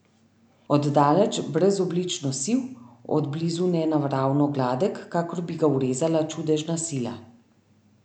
Od daleč brezoblično siv, od blizu nenaravno gladek, kakor bi ga urezala čudežna sila.